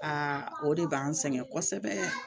Aa o de b'an sɛgɛn kosɛbɛ